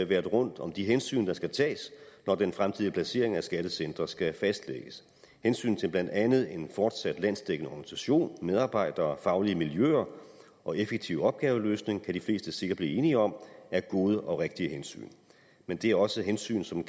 været rundt om de hensyn der skal tages når den fremtidige placering af skattecentre skal fastlægges hensyn til blandt andet en fortsat landsdækkende organisation med medarbejdere faglige miljøer og en effektiv opgaveløsning kan de fleste sikkert blive enige om er gode og rigtige hensyn men det er også hensyn som